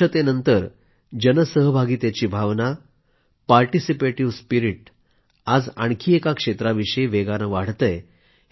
स्वच्छतेनंतर जनसहभागीतेची भावना participative spirit आज आणखी एका क्षेत्राविषयी वेगाने वाढतेय